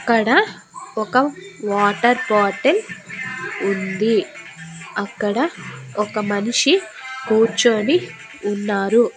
అక్కడ ఒక water bottle ఉంది. అక్కడ ఒక మనిషి కూర్చొని ఉన్నారు.